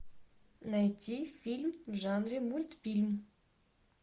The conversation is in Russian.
найти фильм в жанре мультфильм